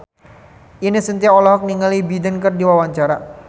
Ine Shintya olohok ningali Joe Biden keur diwawancara